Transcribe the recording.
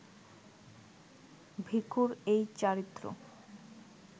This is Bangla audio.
ভিখুর এই চারিত্র্য